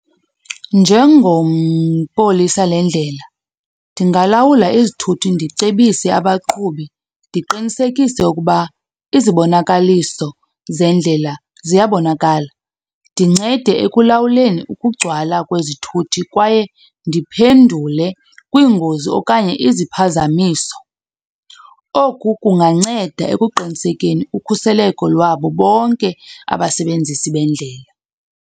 polisa le ndlela, ndingalawula izithuthi ndicebise abaqhubi ndiqinisekise ukuba izibonakaliso zendlela ziyabonakala. Ndincede ekulawuleni ukugcwala kwezithuthi kwaye ndiphendule kwiingozi okanye iziphazamiso. Oku kunganceda ekuqinisekeni ukhuseleko lwabo bonke abasebenzisi bendlela.